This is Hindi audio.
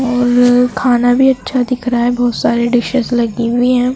और खाना भी अच्छा दिख रहा है बहोत सारी डिशेस लगी हुई है।